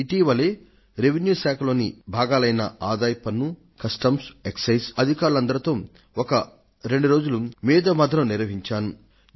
ఇటీవలే రెవెన్యూ శాఖలోని భాగాలైన ఆదాయపు పన్ను కస్టమ్స్ ఎక్సైజ్ అధికారులందరితో ఒక రెండు రోజులు మేధోమధనం నిర్వహించాను